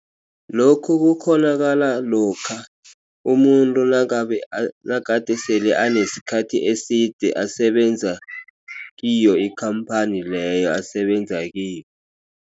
Lokhu kukghonakala lokha umuntu nangabe nagade sele anesikhathi eside asebenza kiyo ikhamphani leyo asebenza kiyo.